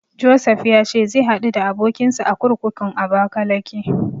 Josef ya ce zai haɗu da abokinsa a kurkukun Abakalake.